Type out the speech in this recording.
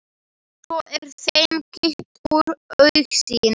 Svo er þeim kippt úr augsýn.